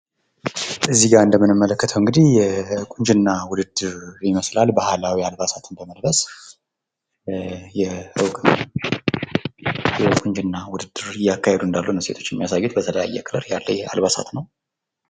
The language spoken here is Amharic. እዚህ ጋር እንደምንመለከተው እንግዲህ ቁንጅና ውድድር ይመስላል። ባህላዊ አልባሳትን በመልበስ የቁንጅና ውድድር እያካሄዱ እንዳሉ ነው ሴቶች የሚያሳየው። በተለያየ ከለር ያለ አልባሳት ነው።